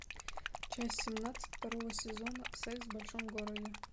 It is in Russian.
часть семнадцать второго сезона секс в большом городе